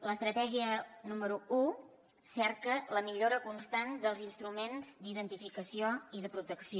l’estratègia número un cerca la millora constant dels instruments d’identificació i de protecció